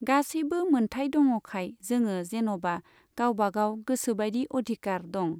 गासैबो मोन्थाय दङखाय जोङो जेन'बा गावबा गाव गोसोबायदि अधिकार दं।